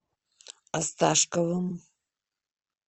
осташковым